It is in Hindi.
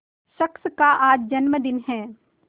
शख्स का आज जन्मदिन है